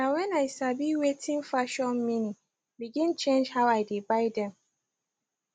na when i sabi wating fashion meani begin change how i dey buy them